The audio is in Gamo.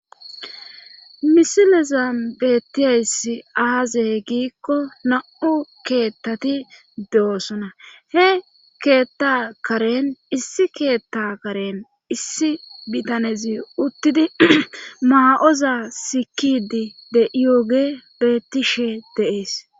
misilezan beettiyayssi aazey giikko na7u keettati de7osona he keetta karen issi keetta karen issi bitanezi uttidi maa7oza sikidi de7iyooge beettishe de7ees.